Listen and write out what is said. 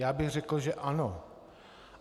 Já bych řekl, že ano.